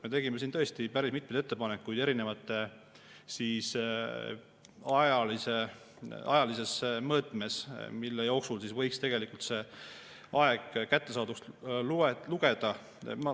Me tegime siin tõesti päris mitmeid ettepanekuid erinevas ajalises mõõtmes, millise aja jooksul võiks kättesaaduks lugeda.